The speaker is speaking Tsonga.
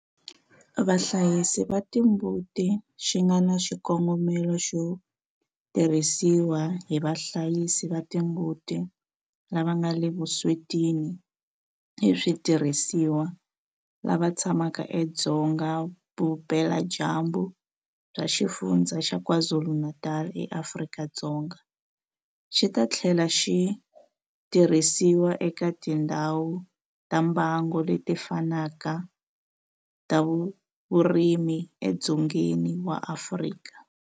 Vahlayisi va timbuti xi nga na xikongomelo xo tirhisiwa hi vahlayisi va timbuti lava nga le vuswetini hi switirhisiwa lava tshamaka edzonga vupeladyambu bya Xifundzha xa KwaZulu-Natal eAfrika-Dzonga, xi ta tlhela xi tirhisiwa eka tindhawu ta mbango leti fanaka ta vurimi edzongeni wa Afrika.